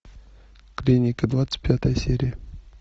клиника двадцать пятая серия